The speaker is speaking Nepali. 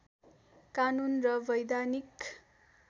कानून र वैधानिक